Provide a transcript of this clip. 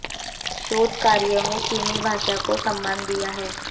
शोध कार्य में चीनी भाषा को सम्मान दिया है